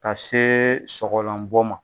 Ka see sɔgɔlanbɔ ma